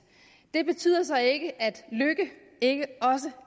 det betyder så ikke at lykke ikke også